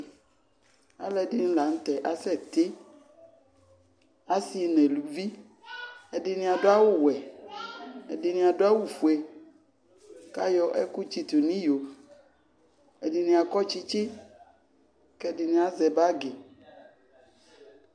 Alʋɛdɩnɩ la nʋ tɛ asɛtɩ, asɩ nʋ eluvi Ɛdɩnɩ adʋ awʋwɛ, ɛdɩnɩ adʋ awʋfue kʋ ayɔ ɛkʋɛdɩ tsɩtʋ nʋ iyo, ɛdɩnɩ akɔ tsɩtsɩ, kʋ ɛdɩnɩ azɛ bagɩ